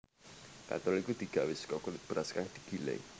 Katul iku digawé saka kulit beras kang digiling